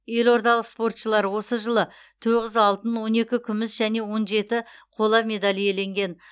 елордалық спортшылар осы жылы тоғыз алтын он екі күміс және он жеті қола медаль иеленген